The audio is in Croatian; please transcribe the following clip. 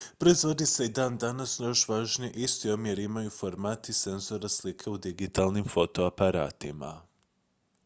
proizvodi se i dan danas no još važnije isti omjer imaju formati senzora slike u digitalnim fotoaparatima